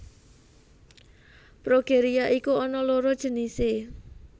Progeria iku ana loro jenise